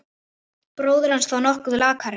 Bróðir hans þó nokkuð lakari.